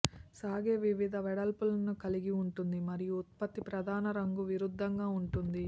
సాగే వివిధ వెడల్పులను కలిగి ఉంటుంది మరియు ఉత్పత్తి ప్రధాన రంగు విరుద్ధంగా ఉంటుంది